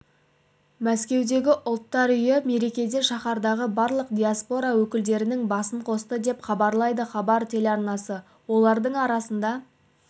мәскеудегі ұлттар үйі мерекеде шаһардағы барлық диаспора өкілдерінің басын қосты деп хабарлайды хабар телеарнасы олардың арасында